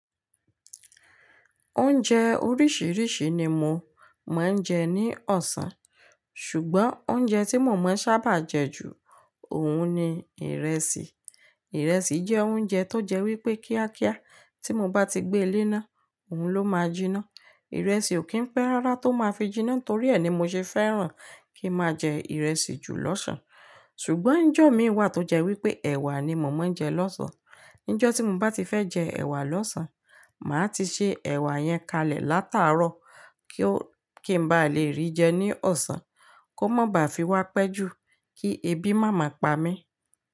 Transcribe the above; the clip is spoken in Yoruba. Oúnjẹ oríṣìíríṣìí ni mò ń jẹ ní ọ̀sán, ṣùgbọ́n oúnjẹ tí mo mọ̀ ọ́n sábà jẹ ju òun ni ìrẹsì. Ìrẹsì jẹ́ oúnjẹ tó jẹ́ wípé kíákíá, tí mo bá ti gbé e lé ná, òun ló máa jiná. Ìrẹsì ò kí ń pẹ́ rárá tó máa fi jiná torí ẹ ni mo ṣe fẹ́ràn kí máa jẹ ìrẹsì jù lọ́sàn. Ṣùgbọ́n ńjọ́ mi wà tó jẹ́ wípé ẹ̀wà ni mò mọ́ ń jẹ lọ́sàn. Níjó tí mo bá ti fẹ́ jẹ ẹ̀wà lọ́sàn, màá ti se ẹ̀wà yẹn kalẹ̀ látàárọ́ kí n bá le rí jẹ ní ọ̀sán kó má ba à fi wá pẹ́ jù kí ebi má máa pa mí.